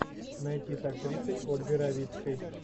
найти с актрисой ольгой равицкой